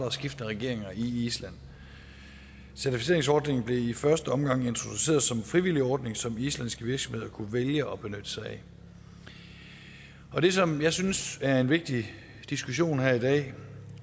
og skiftende regeringer i island certificeringsordningen blev i første omgang introduceret som en frivillig ordning som islandske virksomheder kunne vælge at benytte sig af og det som jeg synes er en vigtig diskussion her i dag